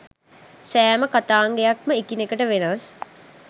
සෑම කථාංගයක්ම එකිනෙට වෙනස්